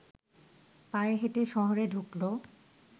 পায়ে হেঁটে শহরে ঢুকলো